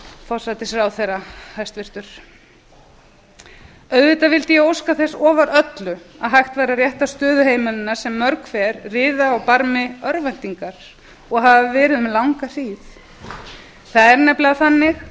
vill hæstvirtur forsætisráðherra auðvitað vildi ég lofa því ofar öllu ef hægt væri að rétta stöðu heimilanna sem mörg hver riða á barmi örvæntingar og hafa verið um langa hríð